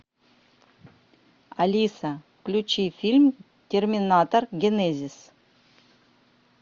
алиса включи фильм терминатор генезис